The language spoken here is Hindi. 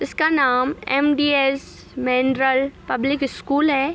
इसका नाम M D S public school है।